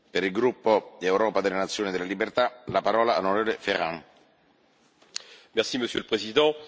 Monsieur le Président, chacun s'alarme ici des atteintes massives aux droits élémentaires de la personne au Viêt Nam.